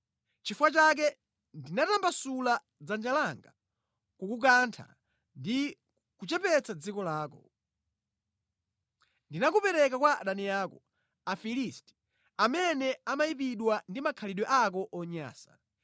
Nʼchifukwa chake ndinatambasula dzanja langa kukukantha ndi kuchepetsa dziko lako. Ndinakupereka kwa adani ako, Afilisti amene amayipidwa ndi makhalidwe ako onyansa.